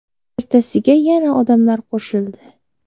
Ertasiga yana odamlar qo‘shildi.